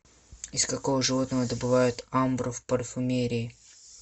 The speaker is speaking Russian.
из какого животного добывают амбру в парфюмерии